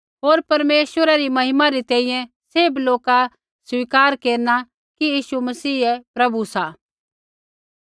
होर परमेश्वरै री महिमा री तैंईंयैं सैभ लोका स्वीकार केरना कि यीशु मसीह ही प्रभु सा